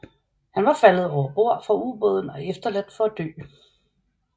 Han var faldet over bord fra ubåden og efterladt for at dø